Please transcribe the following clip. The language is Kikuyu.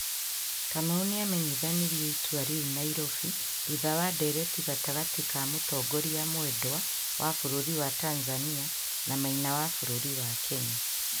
Kamau nĩamenyithanirie itua rĩu Nairobi thutha wa ndeereti gatagatĩ ka mũtongoria Mwendwa wa bũrũri wa Tanzania na Maina wa bũrũri waKenya".